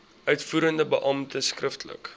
uitvoerende beampte skriftelik